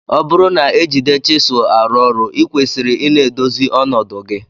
Ọburu na ejide chisul arụ ọrụ ikwesiri ina edozi ọnọdu gi.